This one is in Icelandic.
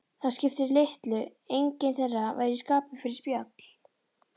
Það skipti litlu, enginn þeirra var í skapi fyrir spjall.